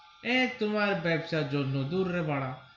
এ তোমার বাঁচা দুনু দুররে বাড়া.